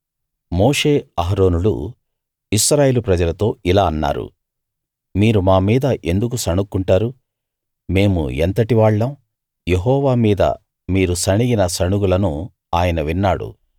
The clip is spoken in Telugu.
మోషే అహరోనులు ఇశ్రాయేలు ప్రజలతో ఇలా అన్నారు మీరు మా మీద ఎందుకు సణుక్కుంటారు మేము ఎంతటి వాళ్ళం యెహోవా మీద మీరు సణిగిన సణుగులను ఆయన విన్నాడు